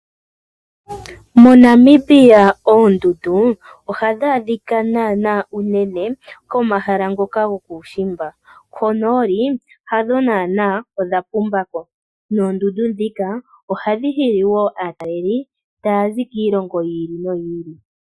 MoNamibia oondundu ohadhi adhika naana unene komahala ngoka gokuushimba, konooli hadho naana odha pumba ko ihadhi adhika ko naana, noondundu ndhino ohadhi hili aatalelipo taa zi kiilongo niilongo yilwe.